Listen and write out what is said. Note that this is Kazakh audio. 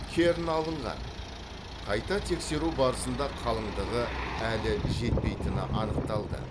кернь алынған қайта тексеру барысында қалыңдығы әлі жетпейтіні анықталды